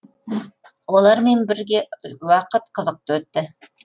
олармен бірге уақыт қызықты өтті